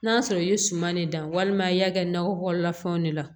N'a sɔrɔ i ye suman de dan walima i y'a kɛ nakɔ kɔnɔna fɛnw de la